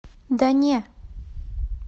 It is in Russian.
да не